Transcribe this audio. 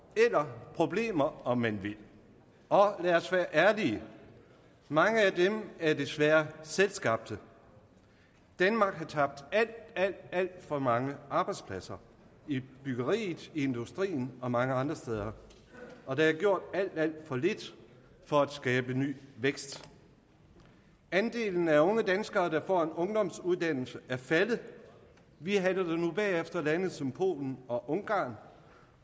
eller problemer om man vil og lad os være ærlige mange af dem er desværre selvskabte danmark har tabt alt alt for mange arbejdspladser i byggeriet i industrien og mange andre steder og der er gjort alt alt for lidt for at skabe ny vækst andelen af unge danskere der får en ungdomsuddannelse er faldet vi halter nu bagefter lande som polen og ungarn